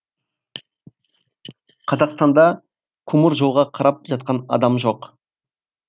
қазақстанда темір жолға қарап жатқан адам жоқ